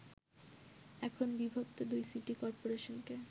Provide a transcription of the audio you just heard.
এখন বিভক্ত দুই সিটি করপোরেশনকে